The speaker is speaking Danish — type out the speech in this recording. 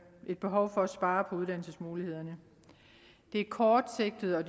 et behov for at spare på uddannelsesmulighederne det er kortsigtet og